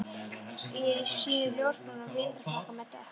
Ég er í síðum ljósbrúnum vetrarfrakka með dökk